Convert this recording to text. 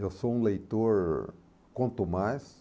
Eu sou um leitor quanto mais.